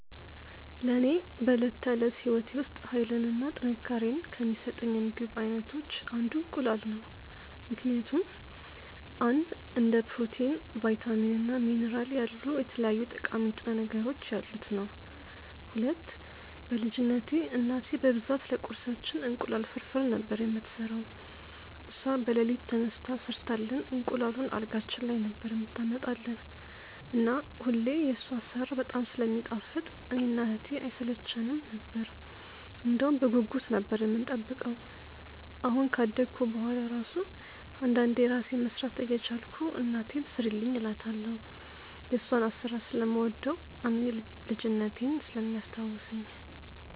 ለኔ በዕለት ተዕለት ሕይወቴ ውስጥ ኃይልን እና ጥንካሬን ከሚሰጡኝ የምግብ አይነቶች አንዱ እንቁላል ነው ምክንያቱም፦ 1. እንደ ፕሮቲን፣ ቫይታሚን እና ሚኒራል ያሉ የተለያዩ ጠቃሚ ንጥረ ነገሮች ያሉት ነዉ። 2. በ ልጅነትቴ እናቴ በብዛት ለቁርሳችን እንቁላል ፍርፍር ነበር የምትሰራው እሷ በለሊት ተነስታ ሰርታልን እንቁላሉን አልጋችን ላይ ነበር የምታመጣልን እና ሁሌ የሷ አሰራር በጣም ስለሚጣፍጥ እኔ እና እህቴ አይሰለቸነም ነበር እንደውም በጉጉት ነበር የምንጠብቀው አሁን ካደኩ በሁዋላ እራሱ አንዳንዴ እራሴ መስራት እየቻልኩ እናቴን ስሪልኝ እላታለው የሷን አሰራር ስለምወደው እና ልጅነቴን ስለሚያስታውሰኝ።